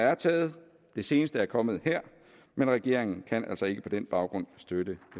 er taget det seneste er kommet her men regeringen kan altså ikke på den baggrund støtte